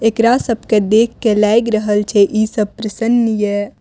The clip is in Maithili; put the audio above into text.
एकरा सब के देख के लाएग रहल छै इ सब प्रसन्न ये --